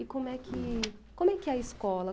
E como é que como é que é a escola?